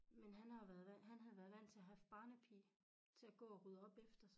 Men han har jo vandt han havde været vandt til at have barnepige til at gå og rydde op efter sig